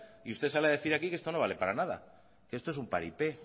y usted sale a decir aquí que esto no vale para nada que esto es un paripé